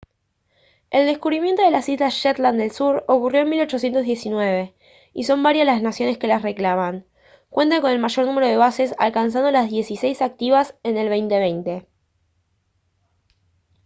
el descubrimiento de las islas shetland del sur ocurrió en 1819 y son varias las naciones que las reclaman cuentan con el mayor número de bases alcanzando las dieciséis activas en el 2020